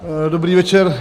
Dobrý večer.